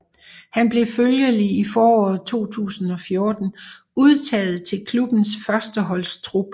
Han blev følgelig i foråret 2014 udtaget til klubbens førsteholdstrup